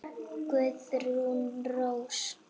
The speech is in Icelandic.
Guðrún Rós.